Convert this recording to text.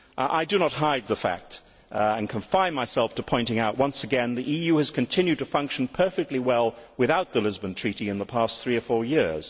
I do not hide the fact, and confine myself to pointing out once again, that the EU has continued to function perfectly well without the Lisbon Treaty in the past three or four years.